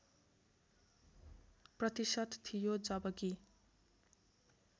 प्रतिशत थियो जबकि